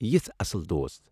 یِژھ اصٕل دوست ۔